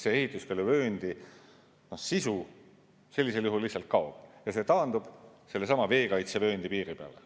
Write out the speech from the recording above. Ehituskeeluvööndi sisu sellisel juhul lihtsalt kaob ja see taandub veekaitsevööndi piiri peale.